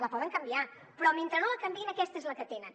la poden canviar però mentre no la canviïn aquesta és la que tenen